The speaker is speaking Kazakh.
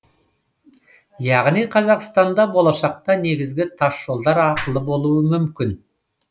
яғни қазақстанда болашақта негізгі тасжолдар ақылы болуы мүмкін